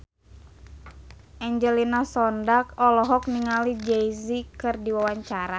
Angelina Sondakh olohok ningali Jay Z keur diwawancara